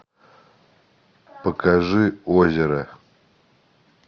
покажи озеро